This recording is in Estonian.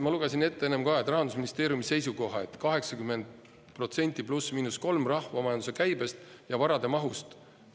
Ma lugesin ette enne ka Rahandusministeeriumi seisukoha, et 80% +/–3% rahvamajanduse käibest ja varade mahust.